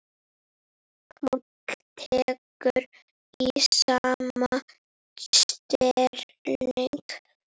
Páll tekur í sama streng.